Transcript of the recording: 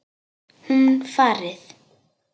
Hún farið.